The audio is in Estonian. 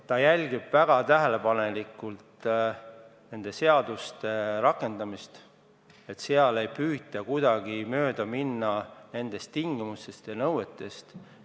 Ta jälgib väga tähelepanelikult nende seaduste rakendamist, et seal ei püütaks kuidagi mööda minna kehtestatud tingimustest ja nõuetest.